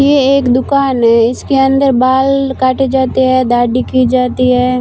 ये एक दुकान है इसके अंदर बाल काटे जाते हैं दाढ़ी की जाती है।